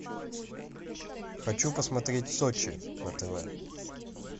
хочу посмотреть сочи на тв